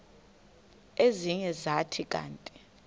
ezinye zathi kanti